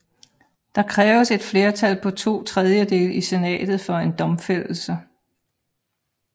Der kræves et flertal på to tredjedele i senatet for en domfældelse